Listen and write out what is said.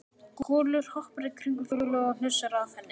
Kolur hoppar í kringum Fjólu og hnusar að henni.